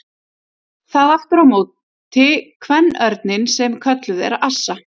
Það á aftur á móti kvenörninn sem kölluð er assa.